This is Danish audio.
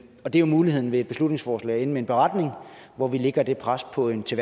og det er jo muligheden ved et beslutningsforslag at ende med en beretning hvor vi lægger det pres på en til